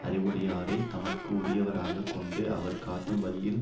அறிவுடையவரைத் தமக்கு உரியவராகக் கொண்டு அவர் காட்டும் வழியில்